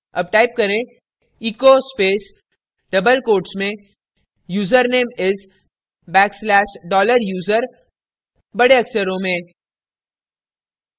double type करें echo space double quote में username is backslash dollar user बड़े अक्षरों में